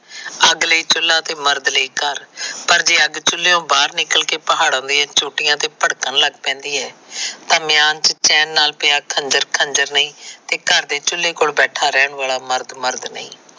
ਅੱਗ ਲਈ ਚੁੱਲਾ ਤਾਂ ਮਰਦ ਲਈ ਘਰ। ਪਰ ਜੇ ਅੱਗ ਚੁਲਿਉ ਬਾਹਰ ਨਿਕਲ ਕੇ ਪਹਾੜਾਂ ਦੀਆਂ ਝੋਟੀਆਂ ਤੇ ਭੜਕਣ ਲੱਗ ਪੈਦੀ ਹੈ। ਪਰ ਮਿਆਨ ਚ ਚੈਨ ਨਾਲ ਪਿਆਂ ਖੰਜਰ ਖੰਜਰ ਨਹੀ ਤੇ ਘਰ ਦੇ ਚੁੱਲੇ ਕੋਲ ਬੈਠਾਂ ਰਹਿਣ ਵਾਲਾ ਮਰਦ ਮਰਦ ਨਹੀ।